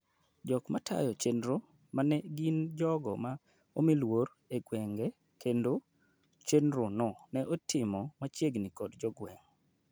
jok matayo chenro mne gin jogo ma omoluor e gweng' kendo chenro no ne itimo machiegni kod jogweng